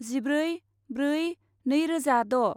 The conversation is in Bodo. जिब्रै ब्रै नैरोजाद'